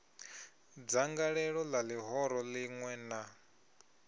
dzangalelo la lihoro linwe na